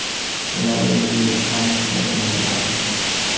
Yana bir yangilik ham Xitoy bilan bog‘liq.